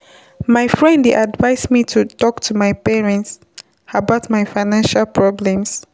My friend dey advise me to talk to my parent about my financial problems.